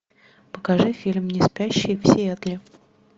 покажи фильм неспящие в сиэтле